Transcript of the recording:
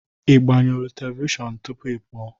Ị gbanyụọ telivishọn tupu ị pụọ?